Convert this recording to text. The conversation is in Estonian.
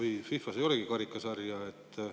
Kas FIFA-s ei olegi karikasarja?